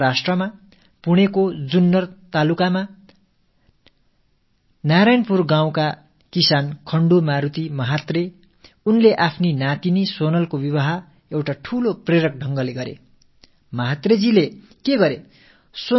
மஹாராஷ்ட்ரத்தின் புனேயைச் சேர்ந்த ஜுன்னர் தாலுகாவில் நாராயண்பூர் கிராமத்தின் விவசாயி கண்டூ மாருதி மஹாத்ரே அவர் தனது பேத்தி சோனலின் திருமணத்தை உற்சாகம் அளிக்கும் வகையில் புதுமையாக கொண்டாடினார்